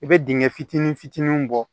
I bɛ dingɛ fitinin fitinin bɔ